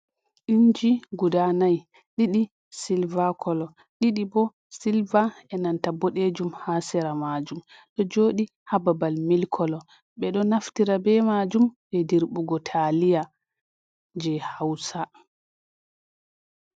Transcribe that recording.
Inji guda nai(4): didi silver kolo, didi bo silva e' nanta boɗejum ha sera majum. Ɗo joɗi ha babal milk kala. Ɓe ɗo naftira be majum je dirɓugo taliya je hausa.